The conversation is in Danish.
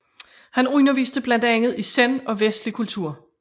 Han underviste blandt andet i zen og vestlig litteratur